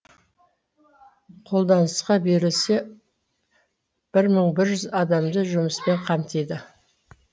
қолданысқа берілсе бір мың бір жүз адамды жұмыспен қамтиды